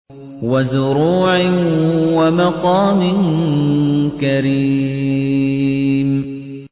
وَزُرُوعٍ وَمَقَامٍ كَرِيمٍ